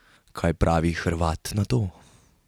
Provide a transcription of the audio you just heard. Kaj pravi Hrvat na to?